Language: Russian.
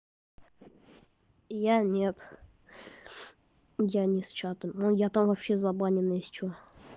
я нет я ни с чата но я там вообще забанен если что